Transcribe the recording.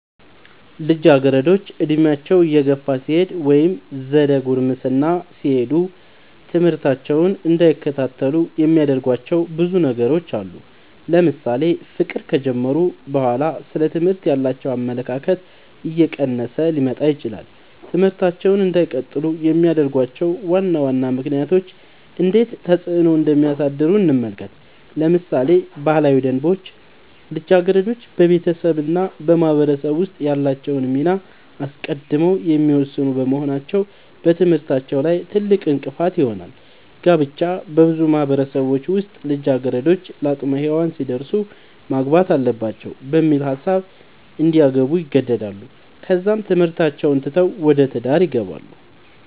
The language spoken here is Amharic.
ልጃገረዶች ዕድሜያቸው እየገፋ ሲሄድ ወይም ዘደ ጉርምስና ሲሄዱ ትምህርታቸውን እንዳይከታተሉ የሚያደርጉዋቸው ብዙ ነገሮች አሉ ለምሳሌ ፍቅር ከጀመሩ በኋላ ስለ ትምህርት ያላቸው አመለካከት እየቀነሰ ሊመጣ ይችላል ትምህርታቸውን እንዳይቀጥሉ የሚያደርጉዋቸው ዋና ዋና ምክንያቶች እንዴት ተፅዕኖ እንደሚያሳድሩ እንመልከት ለምሳሌ ባህላዊ ደንቦች ልጃገረዶች በቤተሰብ እና በማህበረሰብ ውስጥ ያላቸውን ሚና አስቀድመው የሚወስኑ በመሆናቸው በትምህርታቸው ላይ ትልቅእንቅፋት ይሆናል። ጋብቻ- በብዙ ማህበረሰቦች ውስጥ ልጃገረዶች ለአቅመ ሄዋን ሲደርሱ ማግባት አለባቸው በሚል ሀሳብ እንዲያገቡ ይገደዳሉ ከዛም ትምህርታቸውን ትተው ወደ ትዳር ይገባሉ።